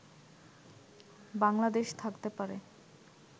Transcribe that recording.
বাংলাদেশ থাকতে পারে